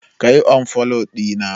ka yi unfollow dina!